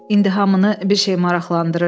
İndi hamını bir şey maraqlandırırdı.